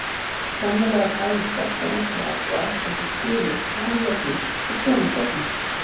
Sannarlega bæri stelpan okkar af og ætti ekki skilið samjöfnuð við svona söfnuð.